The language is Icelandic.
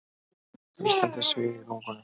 Nístandi sviði í lungunum.